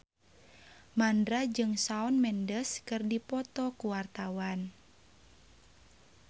Mandra jeung Shawn Mendes keur dipoto ku wartawan